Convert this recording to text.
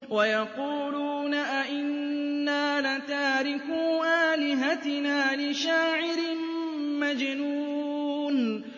وَيَقُولُونَ أَئِنَّا لَتَارِكُو آلِهَتِنَا لِشَاعِرٍ مَّجْنُونٍ